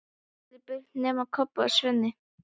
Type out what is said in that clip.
Síðan fóru allir burt nema Kobbi og Svenni.